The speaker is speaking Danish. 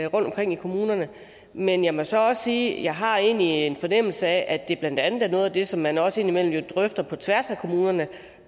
rundtomkring i kommunerne men jeg må så også sige at jeg egentlig har en fornemmelse af at det blandt andet er noget af det som man også indimellem drøfter på tværs af kommunerne